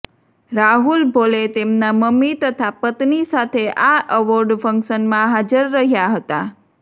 રાહુલ ભોલે તેમનાં મમ્મી તથા પત્ની સાથે આ અવોર્ડ ફંક્શનમાં હાજર રહ્યા હતા